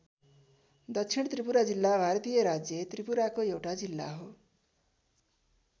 दक्षिण त्रिपुरा जिल्ला भारतीय राज्य त्रिपुराको एउटा जिल्ला हो।